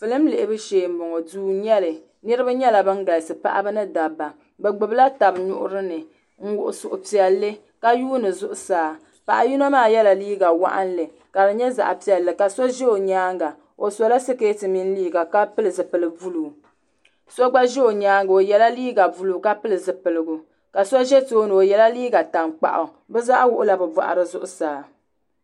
filim lihibu shee n bɔŋɔ duu n nyɛli niraba nyɛla bin galisi paɣaba ni dabba bi gbubila tabi nuhuni n wuhi suhupiɛlli ka yuundi zuɣusaa paɣa yino maa yɛla liiga waɣanli ka di nyɛ zaɣ piɛlli ka so ʒɛ o nyaanga o sola sikɛti mini liiga ka pili zipili buluu so gba ʒɛ o nyaanga o yɛla liiga buluu ka pili di zipiligu ka so ʒɛ tooni o yɛla liiga tankpaɣu bi zaa wuɣula bi boɣari zuɣusaa